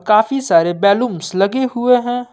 काफी सारे बैलून्स लगे हुए हैं।